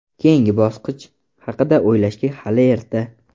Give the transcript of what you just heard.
Keyingi bosqich haqida o‘ylashga hali erta.